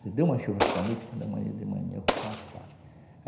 Se der uma chuva esta noite, quando é manhã de manhã eu vou plantar.